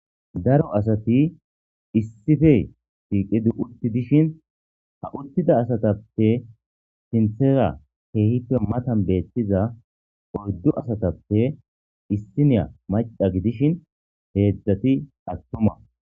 Daro asati issife tiiqidi utti dishin ha uttida asatappe sinthera keehippe matan beettiza oyddu asatappe issiniya maqa gidishin heedzdzati attuma.